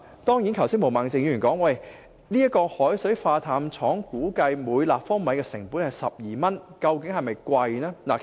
當然，毛孟靜議員剛才提到，海水化淡廠生產每立方米淡水的成本估計是12元，這究竟是否昂貴呢？